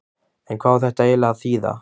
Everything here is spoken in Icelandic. En hvað á þetta eiginlega að þýða?